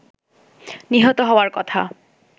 নিহত হওয়ার কথা